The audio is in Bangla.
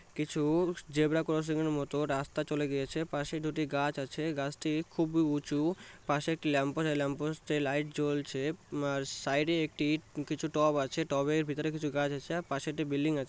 কি-ছু জেব্রা ক্রসিং এর মত রাস্তা চলে গিয়েছে। পাশে দুটি গাছ আছে গাছটি খুবই উঁচু। পাশে একটি ল্যাম্পপোস্ট ল্যাম্পপোস্ট -এ লাইট জ্বলছে। সাইড -এ একটি কিছু টপ আছে। টপ এর ভিতরে কিছু গাছ আছে। পশে একটি বিল্ডিং আছে।